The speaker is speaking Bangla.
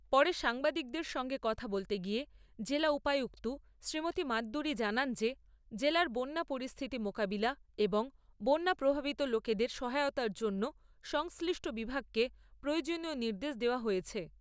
পরে সাংবাদিকদের সঙ্গে কথা বলতে গিয়ে জেলা উপায়ুক্ত শ্রীমতি মাদ্দুরী জানান যে, জেলার বন্যা পরিস্থিতি মোকাবিলা এবং বন্যা প্রভাবিত লোকেদের সহায়তার জন্য সংশ্লিষ্ট বিভাগকে প্রয়োজনীয় নির্দেশ দেওয়া হয়েছে।